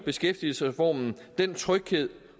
beskæftigelsesreformen giver den tryghed